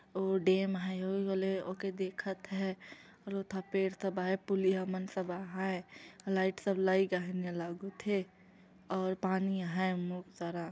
वो डेम हैं वही वाले ओके देखत हैं दू ठा पेड़ दबाय पुलिया मन सब आहय लाइट सप्लाई कान्हे न लागुत हे और पानी आहय बहुत सारा।